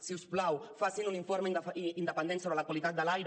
si us plau facin un informe independent sobre la qualitat de l’aire